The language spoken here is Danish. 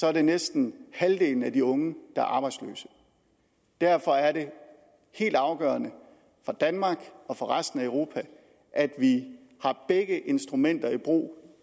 er det næsten halvdelen af de unge der er arbejdsløse derfor er det helt afgørende for danmark og for resten af europa at vi har begge instrumenter i brug